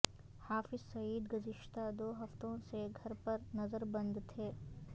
حافظ سعید گزشتہ دو ہفتوں سے گھر پر نظر بند تھے